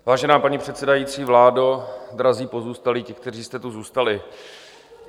Vážená paní předsedající, vládo, drazí pozůstalí, ti, kteří jste tu zůstali.